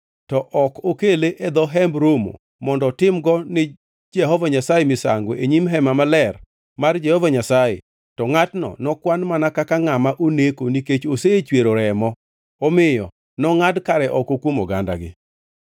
to ok okele e dho Hemb Romo mondo otimgo ni Jehova Nyasaye misango e nyim Hema Maler mar Jehova Nyasaye, to ngʼatno nokwan mana kaka ngʼama oneko nikech osechwero remo, omiyo nongʼad kare oko kuom ogandagi.